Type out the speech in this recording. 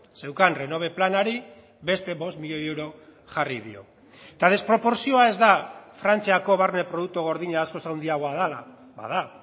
zeukan renove planari beste bost milioi euro jarri dio eta desproportzioa ez da frantziako barne produktu gordina askoz handiagoa dela bada